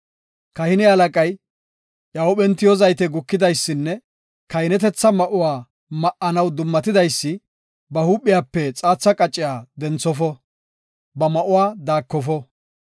“Kahine halaqay, iya huuphen tiyo zaytey gukidaysinne kahinetetha ma7uwa ma7anaw dummatidaysi, ba huuphiyape xaatha qacciya denthofo; ba ma7uwa daakofo.